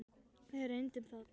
Við reyndum það.